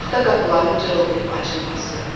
Taxta qapıların cırıldayıb açılması.